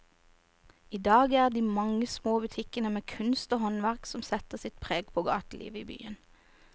I dag er det de mange små butikkene med kunst og håndverk som setter sitt preg på gatelivet i byen.